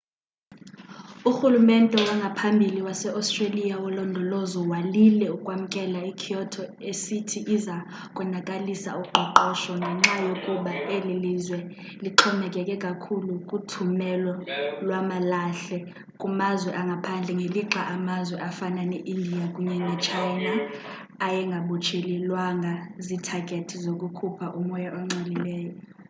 urhulumente wangaphambili wase-australia wolondolozo walile ukwamkela i-kyoto esithi iza konakalisa uqoqosho ngenxa yokuba eli lizwe lixhomekeke kakhulu kuthumelo lwamalahle kumazwe angaphandle ngelixa amazwe afana ne-india kunye ne-china ayengabotshelelwanga ziithagethi zokukhupha umoya ongcolileyo